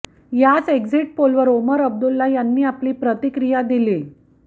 याच एक्झिट पोलवर ओमर अब्दुल्ला यांनी आपली प्रतिक्रिया दिलीय